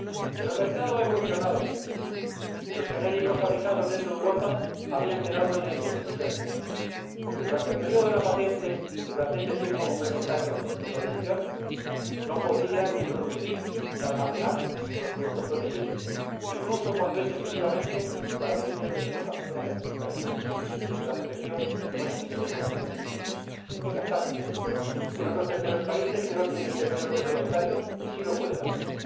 Pero el mercado ha evolucionado, señorías, y los genéricos fabricados dentro de Europa habían quedado en la indefensión porque, durante el período de la patente y durante este tiempo complementario de protección, no podían ni producir ni almacenar los productos protegidos, incluso cuando es exclusivamente para fines de exportación a terceros países en los que la protección no existe o ha expirado. Mientras tanto, en otros terceros países que no tienen este período complementario, sí lo pueden hacer.